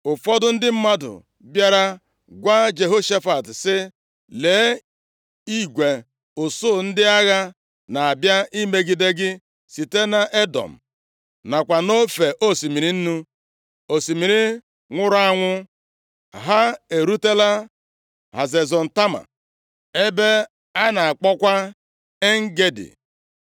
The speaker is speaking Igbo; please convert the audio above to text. Ụfọdụ ndị mmadụ bịara gwa Jehoshafat sị, “Lee, igwe usuu ndị agha na-abịa imegide gị site nʼEdọm, nakwa nʼofe osimiri Nnu (osimiri nwụrụ anwụ). Ha erutela Hazezọn Tama, ebe a na-akpọkwa En-Gedi.”